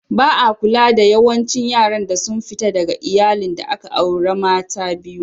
Ba'a kula da yawancin yaran da sun fita daga Iyalli da aka aure mata biyu.